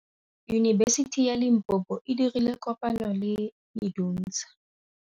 Yunibesiti ya Limpopo e dirile kopanyô le MEDUNSA.